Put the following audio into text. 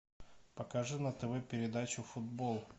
покажи на тв передачу футбол